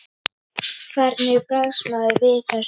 Hvernig bregst maður við þessu?